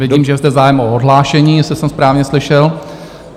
Vidím, že je zde zájem o odhlášení, jestli jsem správně slyšel.